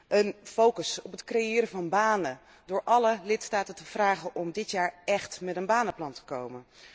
Een focus op het creëren van banen, door alle lidstaten te vragen om dit jaar echt met een banenplan te komen.